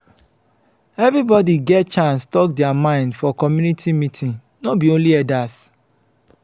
everybodi dey get chance tok their mind for community meeting no be only elders.